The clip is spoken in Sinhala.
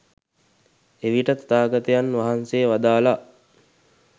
එවිට තථාගතයන් වහන්සේ වදාළා